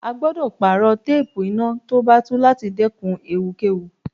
A gbọ́dọ̀ pààrọ̀ téépù iná tó bá tú láti dẹ́kun ewu kẹ́wu.